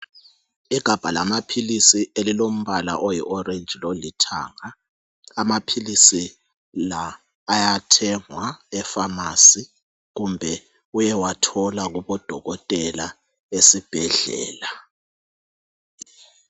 Igabha lamaphilisi elilombala oyiorange lolithanga. Amaphilisi la ayathengwa epharmacy kumbe uyewathola kubodokotela esibhedlela.